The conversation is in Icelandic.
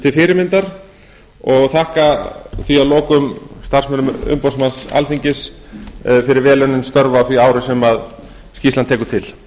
til fyrirmyndar og þakka því að lokum starfsmönnum umboðsmanns alþingis fyrir vel unnin störf á því ári sem skýrslan